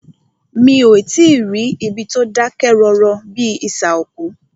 Mí o tí ì rí ibi tí o dákẹ́ rọ́rọ́ bíi isà òkú.